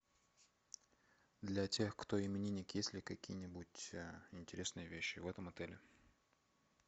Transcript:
для тех кто именинник есть ли какие нибудь интересные вещи в этом отеле